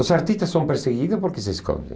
Os artistas são perseguidos porque se escondem.